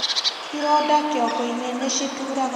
ironda kĩongo -ini nĩcituraga mũno